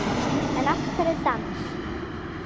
En af hverju dans?